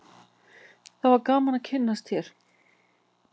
það var gaman að kynnast þér